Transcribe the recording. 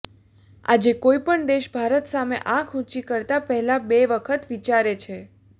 આજે કોઈપણ દેશ ભારત સામે આંખ ઊંચી કરતા પહેલાં બે વખત વિચારે છે